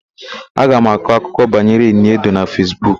Aga m akọ akụkọ banyere Ini Edo na Fesbuk.